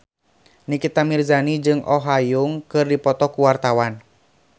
Nikita Mirzani jeung Oh Ha Young keur dipoto ku wartawan